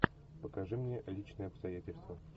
покажи мне личные обстоятельства